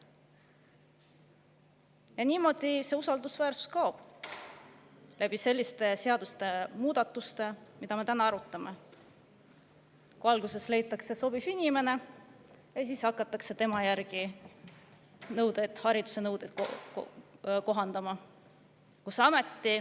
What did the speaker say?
Ja niimoodi see usaldusväärsus kaob, selliste seadusemuudatustega, mida me täna arutame: alguses leitakse sobiv inimene ja siis hakatakse tema järgi haridusnõudeid kohandama.